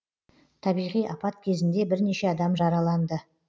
табиғи апат кезінде бірнеше адам жараланды